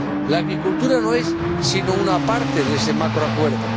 La agricultura no es sino una parte de ese macroacuerdo.